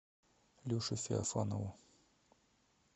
леше феофанову